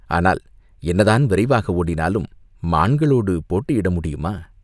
ஆனால் என்னதான் விரைவாக ஓடினாலும் மான்களோடு போட்டியிட முடியுமா?